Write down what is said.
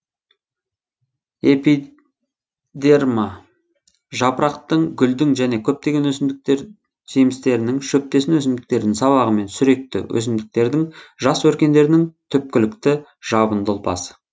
эпи дерма жапырақтың гүлдің және көптеген өсімдіктер жемістерінің шөптесін өсімдіктердің сабағы мен сүректі өсімдіктердің жас өркендерінің түпкілікті жабынды ұлпасы